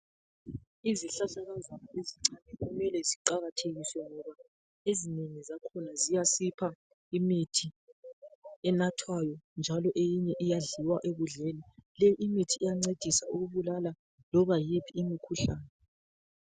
Izihlahlakazana ezincane kumele ziqakathekiswe ngoba ezinengi zakhona ziyasipha imithi enathwayo njalo eyinye iyadliwa ekudleni. Imithi iyancedisa ukubulala loba yiphi imikhuhlane.